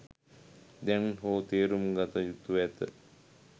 දැන් හෝ තේරුම්ගත යුතුව ඇත